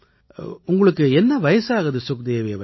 உங்களுக்கு என்ன வயசாகுது சுக்தேவி அவர்களே